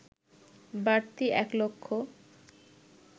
বাড়তি এক লক্ষ